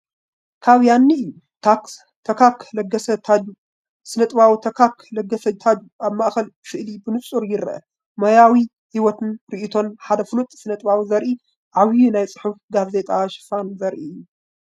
ካብ ያኒ እዩ፣ ታካክ ለገሰ (ታጁ)፡ ስነ-ጥበባዊ ታካክ ለገሰ (ታጁ) ኣብ ማእከል ስእሊ ብንጹር ይርአ። ሞያዊ ህይወትን ርእይቶን ሓደ ፍሉጥ ስነጥበባዊ ዘርኢ ዓቢይ ናይ ጽሑፍ ጋዜጣ ሽፋን ዘርኢ እዩ።